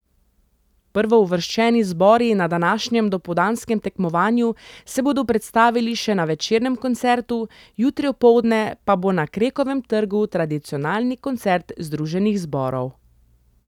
Prvouvrščeni zbori na današnjem dopoldanskem tekmovanju se bodo predstavili še na večernem koncertu, jutri opoldne pa bo na Krekovem trgu tradicionalni koncert združenih zborov.